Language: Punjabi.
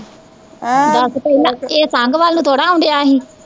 ਦੱਸ ਪਹਿਲਾਂ ਏਹ ਸੰਘ ਵੱਲ ਨੂੰ ਥੋੜਾ ਆਉਣ ਡਿਆ ਸੀ